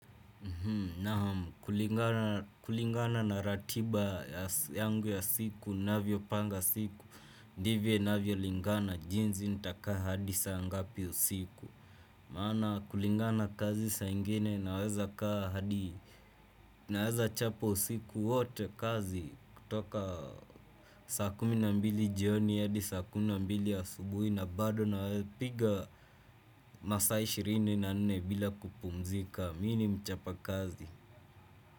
Naam kulingana na ratiba yangu ya siku, ninavyo panga siku, ndivyo inavyo lingana, jinsi nitakaa hadi saa ngapi usiku. Maana kulingana kazi saa ingine naweza kaa hadi, naweza chapa usiku wote kazi kutoka saa kumi na mbili jioni, hadi saa kumina mbili asubuhi, na bado na napiga masaa ishirini na nne bila kupumzika, mimi ni mchapa kazi.